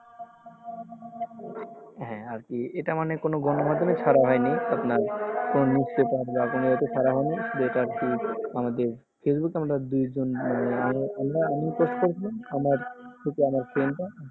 হ্যাঁ এটা মানে কোনো গণমাধ্যমে ছাড়া হয়নি আমাদের আমি করেছিলাম আমার